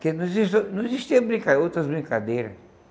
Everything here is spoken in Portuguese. Porque não exista não existia brinca outras brincadeiras.